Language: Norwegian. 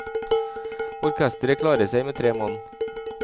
Orkesteret klarer seg med tre mann.